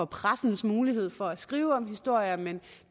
pressens mulighed for at skrive historier men